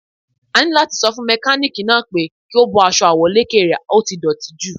A ní láti sọ fún mẹkálíkì náà pé kí ó bọ́ aṣọ àwọ̀lékè rè, ó ti dọ̀tí jù.